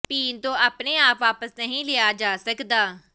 ਪੀਣ ਤੋਂ ਆਪਣੇ ਆਪ ਵਾਪਸ ਨਹੀਂ ਲਿਆ ਜਾ ਸਕਦਾ